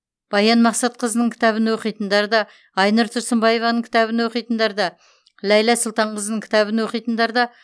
баян мақсатқызының кітабын оқитындар да айнұр тұрсынбаеваның кітабын оқитындар да ләйлә сұлтанқызының кітабын оқитындар да